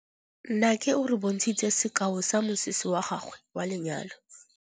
Nnake o re bontshitse sekaô sa mosese wa gagwe wa lenyalo.